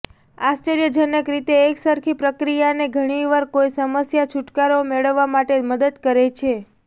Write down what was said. આશ્ચર્યજનક રીતે એકસરખી પ્રક્રિયાને ઘણીવાર કોઈ સમસ્યા છુટકારો મેળવવા માટે મદદ કરે છે